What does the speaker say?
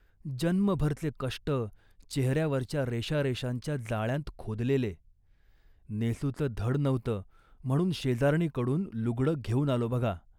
जन्मभरचे कष्ट, चेहऱ्यावरच्या रेषारेषांच्या जाळ्यांत खोदलेले. नेसूचं धड नव्हतं म्हणून शेजारणी कडून लुगडं घेऊन आलो बघा